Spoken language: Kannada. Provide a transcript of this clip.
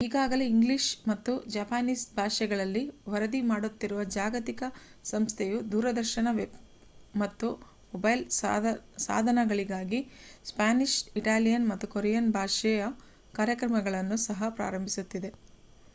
ಈಗಾಗಲೇ ಇಂಗ್ಲಿಷ್ ಮತ್ತು ಜಪಾನೀಸ್ ಭಾಷೆಗಳಲ್ಲಿ ವರದಿ ಮಾಡುತ್ತಿರುವ ಜಾಗತಿಕ ಸಂಸ್ಥೆಯು ದೂರದರ್ಶನ ವೆಬ್ ಮತ್ತು ಮೊಬೈಲ್ ಸಾಧನಗಳಿಗಾಗಿ ಸ್ಪ್ಯಾನಿಷ್ ಇಟಾಲಿಯನ್ ಮತ್ತು ಕೊರಿಯನ್ ಭಾಷೆಯ ಕಾರ್ಯಕ್ರಮಗಳನ್ನು ಸಹ ಪ್ರಾರಂಭಿಸುತ್ತಿದೆ